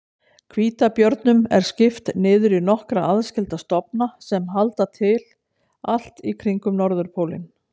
Hvítabjörnum er skipt niður í nokkra aðskilda stofna sem halda til allt í kringum norðurpólinn.